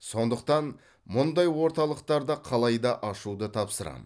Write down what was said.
сондықтан мұндай орталықтарды қалайда ашуды тапсырамын